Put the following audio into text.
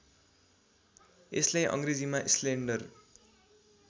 यसलाई अङ्ग्रेजीमा स्लेन्डर